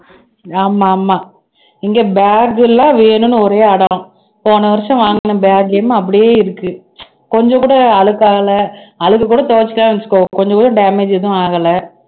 ஆமா ஆமா இங்க bag எல்லாம் வேணும்ன்னு ஒரே அடம் போன வருஷம் வாங்கின bag அப்படியே இருக்கு கொஞ்சம் கூட அழுக்காகல அழுக்கு கூட துவைச்சுட்டன்னு வச்சுக்கோ கொஞ்சம் கூட damage எதுவும் ஆகல